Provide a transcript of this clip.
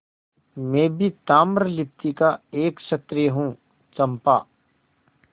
मैं भी ताम्रलिप्ति का एक क्षत्रिय हूँ चंपा